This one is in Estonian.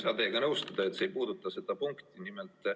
Ma ei saa teiega nõustuda, et see ei puuduta seda punkti.